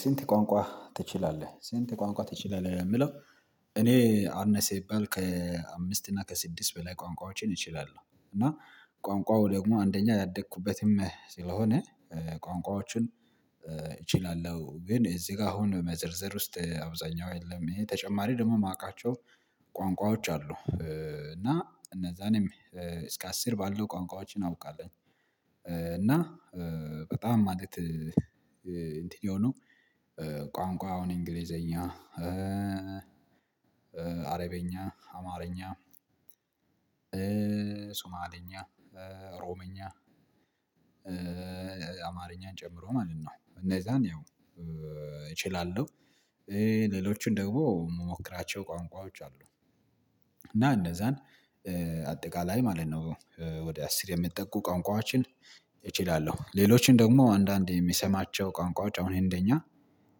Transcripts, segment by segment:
ስንት ቋንቋ ትችላለህ ስንት ቋንቋ ትችላለህ ለሚለው? እኔ አነሰ ቢባል ከአምስት እና ከስድስት በላይ ቋንቋዎችን እችላለሁ። እና ቋንቋው ደግሞ አንደኛ ያደኩበትም ስለሆነ ቋንቋዎችን እችላለሁ ግን እዚህ ጋር አሁን መዘርዘር ውስጥ አብዛኛው የለም ይሄ ተጨማሪ ደግሞ ማውቃቸው ቋንቋዎች አሉ እና እነዛንም እስከ አስር ባለው ቋንቋዎችን አውቃለሁኝ። እና በጣም ማለት እንትን የሆኑ ቋንቋ አሁን እንግሊዘኛ አረብኛ አማርኛ ሶማልኛ ኦሮምኛ አማርኛን ጨምሮ ማለት ነው እነዛን ያው እችላለሁ። ሌሎቹን ደግሞ ምሞክራቸው ቋንቋዎች አሉ እና እነዛን አጠቃላይ ማለት ነው ወደ አስር የሚጠቁ ቋንቋዎችን እችላለሁ። ሌሎችን ደግሞ አንዳንዴ የምሰማቸው ቋንቋዎች አሁን ህንደኛ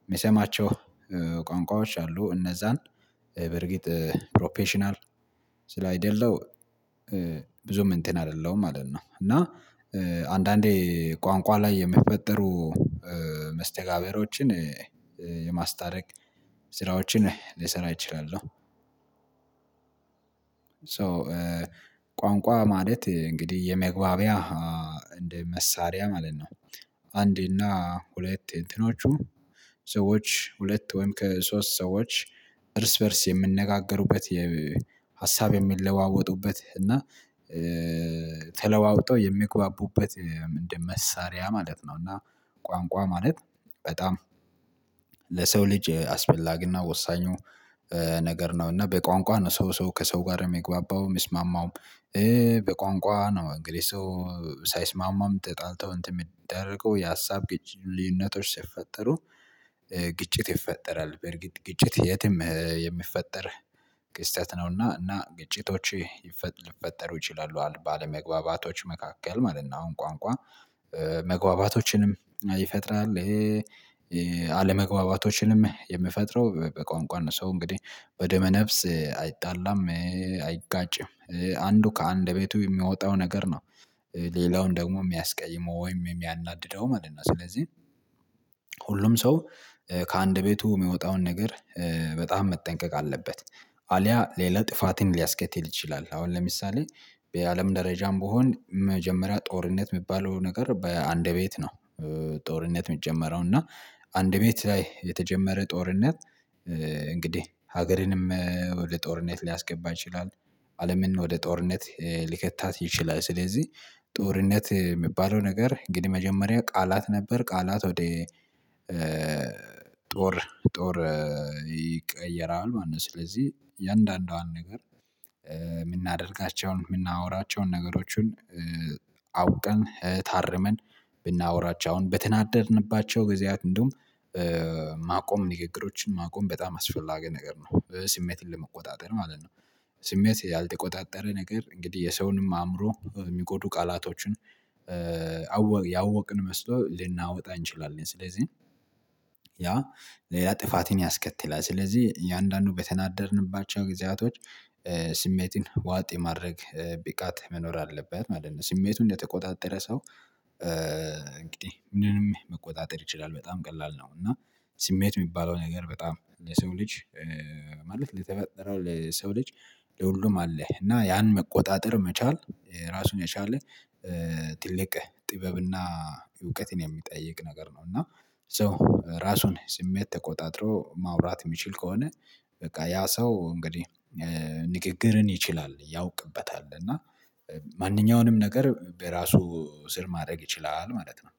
የምሰማቸው ቋንቋዎች አሉ እነዛን በርግጥ ፕሮፌሽናል ስለ አይደለው ብዙም እንትን አይደለሁም ማለት ነው። እና አንዳንዴ ቋንቋ ላይ የሚፈጠሩ መስተጋብሮችን የማስታረቅ ስራዎችን ልሰራ እችላለሁ። ሶ ቋንቋ ማለት እንግዲህ የመግባቢያ እንደ መሳሪያ ማለት ነው። አንድ እና ሁለት እንትኖቹ ሰዎች ሁለት ወይም ከሶስት ሰዎች እርስ በእርስ የሚነጋገሩበት የሀሳብ የሚለዋወጡበት እና ተለዋውጠው የሚግባቡበት ምንድን መሳሪያ ማለት ነው? እና ቋንቋ ማለት በጣም ለሰው ልጅ አስፈላጊና ወሳኙ ነገር ነው እና በቋንቋ ነው ሰው ሰው ከሰው ጋር የሚግባባው የሚስማማውም በቋንቋ ነው። እንግዲህ ሰው ሳይስማማም ተጣልተው እንትን የሚደረገው የሀሳብ ግጭ ልዩነቶች ሲፈጠሩ ግጭት ይፈጠራል በርግጥ ግጭት የትም የሚፈጠር ክስተት ነውና እና ግጭቶች ሊፈጠሩ ይችላሉ ባለመግባባቶች መካከል ማለት ነው። አሁን ቋንቋ መግባባቶችንም ይፈጥራል። አለመግባባቶችንም የሚፈጥረው በቋንቋ ነው ሰው እንግዲህ በደመ ነፍስ አይጣላም አይጋጭም አንዱ ከአንደበቱ የሚወጣው ነገር ነው ሌላውን ደግሞ የሚያስቀይመው ወይም የሚያናድደው ማለት ነው። ስለዚህ ሁሉም ሰው ከአንደበቱ ሚወጣውን ነገር በጣም መጠንቀቅ አለበት አልያ ሌላ ጥፋትን ሊያስከትል ይችላል። አሁን ለምሳሌ በአለም ደረጃም ብሆን መጀመሪያ ጦርነት የሚባለው ነገር በአንደበት ነው ጦርነት ሚጀመረው እና አንደበት ላይ የተጀመረ ጦርነት እንግዲህ ሀገርንም ወደ ጦርነት ሊያስገባ ይችላል። አለምን ወደ ጦርነት ሊከታት ይችላል። ስለዚህ ጦርነት የሚባለው ነገር እንግዲህ መጀመሪያ ቃላት ነበር ቃላት ወደ ጦር ጦር ይቀየራል ማለት ነው። ስለዚህ እያንዳንዷን ነገር የምናደርጋቸውን የምናወራቸውን ነገሮችን አውቀን ታርመን ብናወራቸው አሁን በተናደድንባቸው ጊዜያት እንደውም ማቆም ንግግሮችን ማቆም በጣም አስፈላጊ ነገር ነው። ስሜትን ለመቆጣጠር ማለት ነው ስሜት ያልተቆጣጠረ ነገር እንግዲህ የሰውንም አእምሮ የሚጎዱ ቃላቶችን ያወቅን መስሎ ልናወጣ እንችላለን። ስለዚህ ያ ሌላ ጥፋትን ያስከትላል ስለዚህ እያንዳንዱ በተናደድንባቸው ጊዜያቶች ስሜትን ዋጥ የማድረግ ብቃት መኖር አለበት ማለት ነው። ስሜቱን እንደተቆጣጠረ ሰው እንግዲህ ምንም መቆጣጠር ይችላል በጣም ቀላል ነው እና ስሜት የሚባለው ነገር በጣም ለሰው ልጅ ማለት ለተፈጠረው ለሰው ልጅ ለሁሉም አለህ እና ያን መቆጣጠር መቻል ራሱን የቻለ ትልቅ ጥበብና እውቀትን የሚጠይቅ ነገር ነው። እና ሶ ራሱን ስሜት ተቆጣጥሮ ማውራት የሚችል ከሆነ በቃ ያ ሰው እንግዲህ ንግግርን ይችላል ያውቅበታል እና ማንኛውንም ነገር በራሱ ስር ማድረግ ይችላል። ማለት ነው።